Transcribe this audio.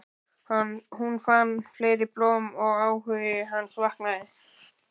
Hún fann fleiri blóm og áhugi hans vaknaði.